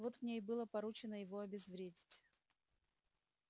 вот мне и было поручено его обезвредить